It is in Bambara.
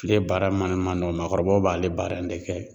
Kile baara man nɔgɔ mɔgɔkɔrɔbaw b'ale baara in de kɛ.